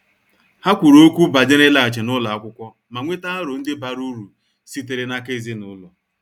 Ha kwuru okwu banyere ịlaghachi n' ụlọ akwụkwọ ma nweta aro ndi bara uru sitere n' aka ezinụlọ.